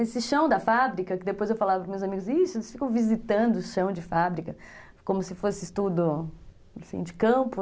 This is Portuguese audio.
Esse chão da fábrica, que depois eu falava para os meus amigos, eles ficam visitando o chão de fábrica, como se fosse estudo, assim de campo.